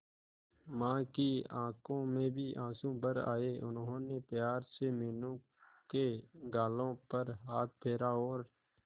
मां की आंखों में भी आंसू भर आए उन्होंने प्यार से मीनू के गालों पर हाथ फेरा और